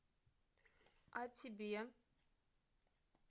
а тебе